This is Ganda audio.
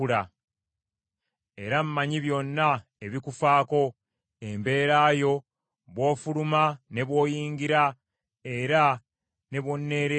“Naye mmanyi obutuuliro bwo era mmanyi okufuluma kwo n’okuyingira kwo n’obuswandi bw’ondaga.